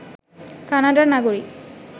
কানাডার নাগরিক